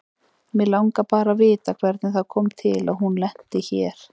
Mig langar bara að vita hvernig það kom til að hún lenti hér.